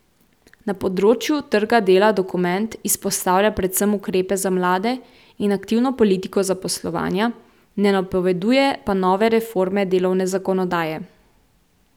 Na področju trga dela dokument izpostavlja predvsem ukrepe za mlade in aktivno politiko zaposlovanja, ne napoveduje pa nove reforme delovne zakonodaje.